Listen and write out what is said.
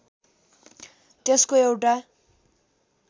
त्यसको एउटा